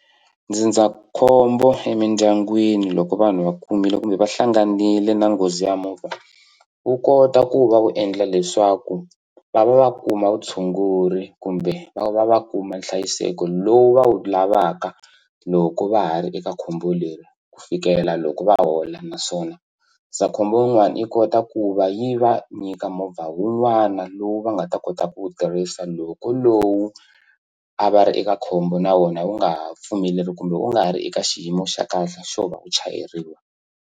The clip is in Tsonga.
Ndzindzakhombo emindyangwini loko vanhu va kumile kumbe va hlanganile na nghozi ya movha wu kota ku va wu endla leswaku va va va kuma vutshunguri kumbe va va va kuma nhlayiseko lowu va wu lavaka loko va ha ri eka khombo leri ku fikela loko va hola naswona ndzindzakhombo wun'wani yi kota ku va yi va nyika movha wun'wana lowu va nga ta kota ku wu tirhisa loko lowu a va ri eka khombo na wona wu nga ha pfumeleli kumbe u nga ha ri eka xiyimo xa kahle xo va u chayeriwa.